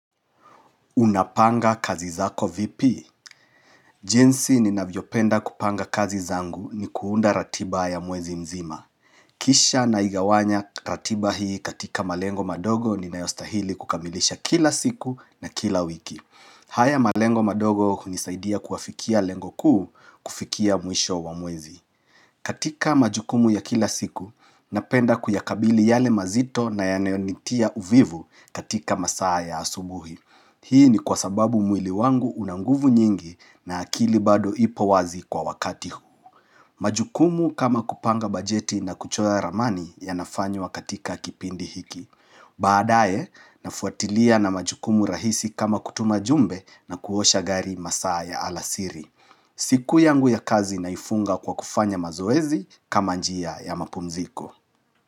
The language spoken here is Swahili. Unapanga kazi zako vipi. Jinsi ninavyopenda kupanga kazi zangu ni kuunda ratiba ya mwezi mzima. Kisha naigawanya ratiba hii katika malengo madogo ninayostahili kukamilisha kila siku na kila wiki. Haya malengo madogo hunisaidia kuafikia lengo kuu kufikia mwisho wa mwezi. Katika majukumu ya kila siku, napenda kuyakabili yale mazito na yanayonitia uvivu katika masaa ya asubuhi. Hii ni kwa sababu mwili wangu una nguvu nyingi na akili bado ipo wazi kwa wakati huu. Majukumu kama kupanga bajeti na kuchoya ramani yanafanywa katika kipindi hiki. Baadaye, nafuatilia na majukumu rahisi kama kutuma jumbe na kuosha gari masaa ya alasiri. Siku yangu ya kazi naifunga kwa kufanya mazoezi kama njia ya mapumziko.